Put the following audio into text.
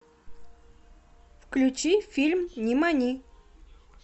включи фильм нимани